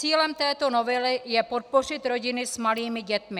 Cílem této novely je podpořit rodiny s malými dětmi.